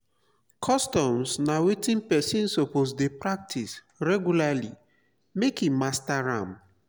customs na wetin persin suppose de practice regulary make e master am